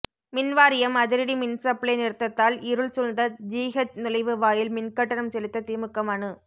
மின்வாரியம் அதிரடி மின்சப்ளை நிறுத்தத்தால் இருள் சூழ்ந்த ஜிஹெச் நுழைவு வாயில் மின்கட்டணம் செலுத்த திமுக மனு